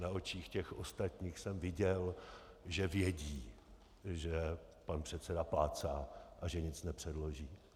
Na očích těch ostatních jsem viděl, že vědí, že pan předseda plácá a že nic nepředloží.